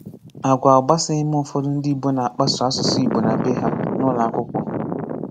Àgwà ọ̀ gbasàghị m ùfọ̀dù ndị Ìgbò na-akpàsò asụ̀sụ́ Ìgbò n’ábe hà, n’ùlọ̀akwùkwó.